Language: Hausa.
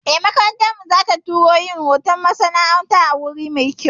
Eh, makarantar mu za ta tura mu yin horon masana'antu a wuri mai kyau